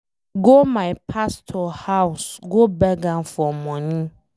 I go my pastor house go beg am for money.